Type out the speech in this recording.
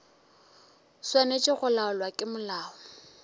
swanetše go laolwa ke molao